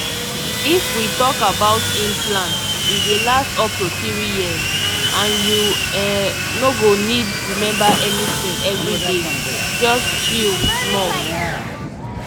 if we talk about implant e dey last up to three years and you um no go need remember anything every day — just chill small.